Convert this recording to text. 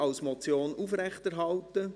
als Motion aufrechterhalten.